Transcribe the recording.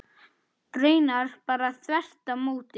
Raunar bara þvert á móti.